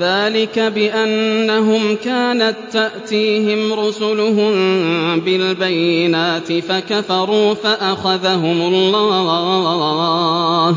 ذَٰلِكَ بِأَنَّهُمْ كَانَت تَّأْتِيهِمْ رُسُلُهُم بِالْبَيِّنَاتِ فَكَفَرُوا فَأَخَذَهُمُ اللَّهُ ۚ